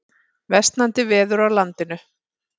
Versnandi veður á landinu